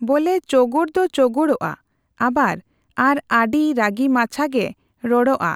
ᱵᱚᱞᱮ ᱪᱳᱜᱳᱲ ᱫᱚ ᱪᱳᱜᱳᱲᱚᱜᱼᱟ ᱟᱵᱟᱨ ᱟᱨᱚ ᱟᱰᱤ ᱨᱟᱜᱤ ᱢᱟᱪᱷᱟ ᱜᱮ ᱨᱚᱲᱚᱜᱼᱟ